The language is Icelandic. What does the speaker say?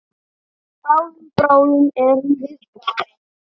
Bráðum, bráðum erum við farin.